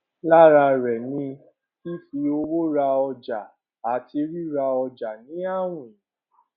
lára rẹ ni fífi owó ra ọjà àti ríra ọjà ní àwìn